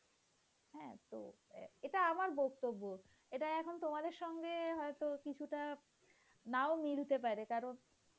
হ্যাঁ এটা আমার বক্তব্য এটা এখন তোমাদের সঙ্গে তো কিছুটা নাও মিলতে পারে কারণ,